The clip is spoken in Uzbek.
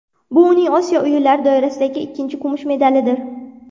Bu uning Osiyo o‘yinlari doirasidagi ikkinchi kumush medalidir.